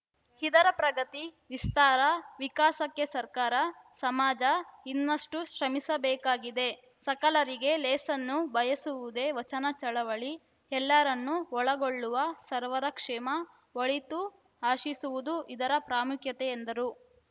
ಇದರ ಪ್ರಗತಿ ವಿಸ್ತಾರ ವಿಕಾಸಕ್ಕೆ ಸರ್ಕಾರ ಸಮಾಜ ಇನ್ನಷ್ಟುಶ್ರಮಿಸಬೇಕಾಗಿದೆ ಸಕಲರಿಗೆ ಲೇಸನ್ನು ಬಯಸುವುದೆ ವಚನ ಚಳವಳಿ ಎಲ್ಲರನ್ನೂ ಒಳಗೊಳ್ಳುವ ಸರ್ವರ ಕ್ಷೇಮಒಳಿತು ಆಶಿಸುವುದು ಇದರ ಪ್ರಾಮುಖ್ಯತೆ ಎಂದರು